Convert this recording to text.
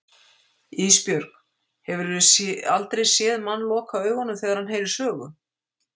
Ísbjörg, hefurðu aldrei séð mann loka augunum þegar hann heyrir sögu?